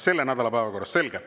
Selle nädala päevakorrast, selge.